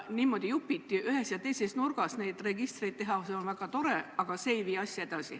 Niimoodi jupiti ühes ja teises nurgas neid registreid teha on väga tore, aga see ei vii asja edasi.